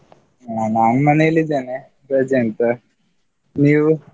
ಹ ನಾನ್ ಮನೆಯಲ್ಲಿದೆನೆ, ರಜೆ ಉಂಟು ನೀವು?